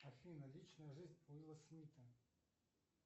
афина личная жизнь уилла смита